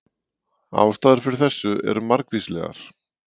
Ástæður fyrir þessu eru margvíslegar.